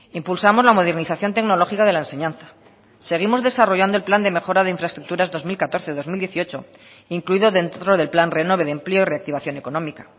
impulsamos la modernización tecnológica de la enseñanza seguimos desarrollando el plan de mejora de infraestructuras dos mil catorce dos mil dieciocho incluido dentro del plan renove de empleo y reactivación económica